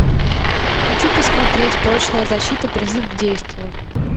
хочу посмотреть прочная защита призыв к действию